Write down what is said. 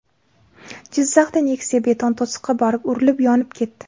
Jizzaxda Nexia beton to‘siqqa borib urilib, yonib ketdi.